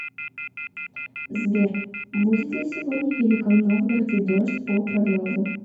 сбер будет ли сегодня в великом новгороде дождь по прогнозу